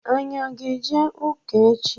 Anyị aga eje ụka echi?